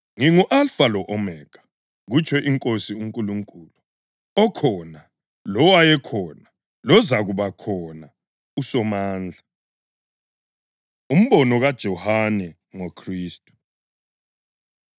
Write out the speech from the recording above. “Ngingu-Alfa lo-Omega,” kutsho iNkosi uNkulunkulu, “okhona, lowayekhona, lozakubakhona, uSomandla.” Umbono KaJohane NgoKhristu